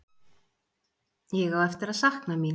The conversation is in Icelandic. Ég á eftir að sakna mín.